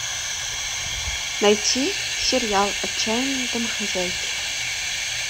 найти сериал отчаянные домохозяйки